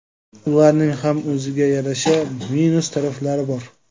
Ularning ham o‘ziga yarasha minus taraflari bor.